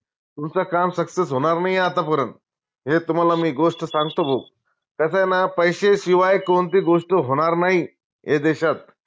तुमचं काम success होनार नाई ए आता परत हे तुम्हाला मी गोष्ट सांगतो भाऊ कसंय ना पैशे शिवाय कोनती गोष्ट होणार नाई ये देशात